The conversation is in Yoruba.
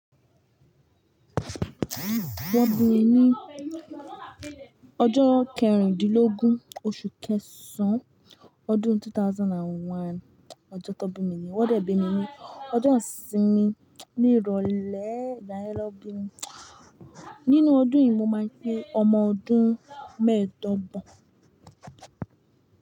Wọ́n bí mi ní ọjọ́ kẹrindínlógún oṣù kẹsàn án ọdún 2001. Ọjọ́ ton bí mi ni yẹ́, wọ́n dẹ̀ bi mí ní. Ọjọ isínmi ní ìrọ̀lẹ́, ìgbà yẹ nó bí mi. Nínú ọdún yìí, mo máa pé ọmọ ọdún mẹ́ẹ̀dọ́gbọ̀n.